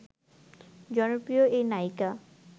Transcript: জনপ্রিয় এই নায়িকা